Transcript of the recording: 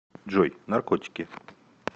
джой наркотики